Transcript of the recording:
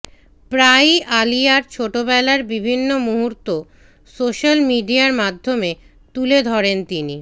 প্রায়ই আলিয়ার ছোটবেলার বিভিন্ন মুহূর্ত সোশ্য়াল মিডিয়ার মাধ্য়মে তুলে ধরেন তিনি